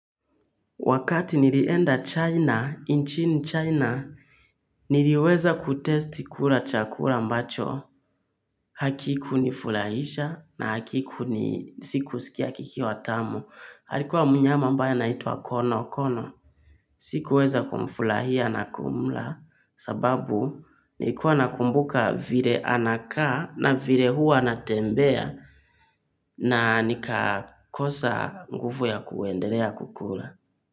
Wakati nilienda China nchini China niliweza kutesti kula chakula ambacho hakikuni furahisha na hakiku ni sikusikia kikiwa tamu alikuwa mnyama ambaye anaitwa kono kono sikuweza kumfurahia na kumla sababu nilikuwa nakumbuka vile anakaa na vile hua anatembea na nikakosa nguvu ya kuendelea kukula.